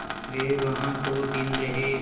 वे वहाँ दो दिन रहे